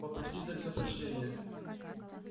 попросить за всё прощения